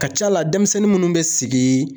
Ka ca a la denmisɛnnin munnu bɛ sigi